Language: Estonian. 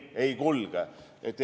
Ei kulge!